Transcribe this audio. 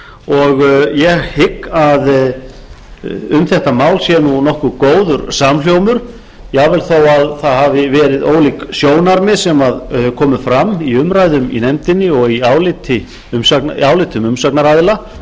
og ég hygg að um þetta mál sé nokkuð góður samhljómur jafnvel þó að það hafi verið ólík sjónarmið sem komu fram í umræðum í nefndinni og í álitum umsagnaraðila á fundum nefndar